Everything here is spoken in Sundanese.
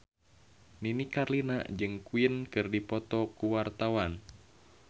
Nini Carlina jeung Queen keur dipoto ku wartawan